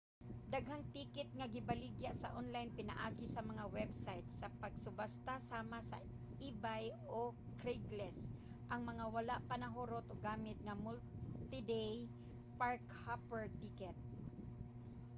daghang ticket nga gibaligya sa online pinaagi sa mga website sa pagsubasta sama sa ebay o craigslist ang mga wala pa nahurot og gamit nga multi-day park-hopper ticket